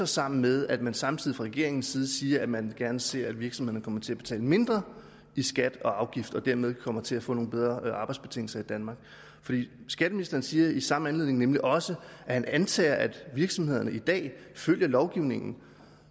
sammen med at man samtidig fra regeringens side siger at man gerne ser at virksomhederne kommer til betale mindre i skat og afgifter og dermed kommer til at få nogle bedre arbejdsbetingelser i danmark for skatteministeren siger i samme anledning nemlig også at han antager at virksomhederne i dag følger lovgivningen